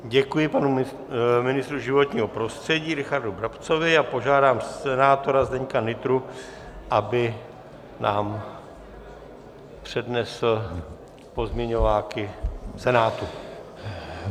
Děkuji panu ministru životního prostředí Richardu Brabcovi a požádám senátora Zdeňka Nytru, aby nám přednesl pozměňováky Senátu.